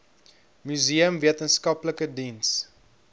museum wetenskaplike diens